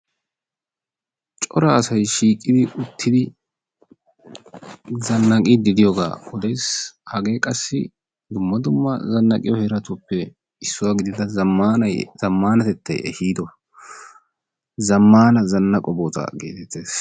Cora asay shiiqidi uttidi zannaqiiddi diyogaa odes. Hagee qassi dumma dumma zannaqiyo heeratuppe issuwa gidida zammaanatettay ehiido zammaana zannaqo bootaa geetettes.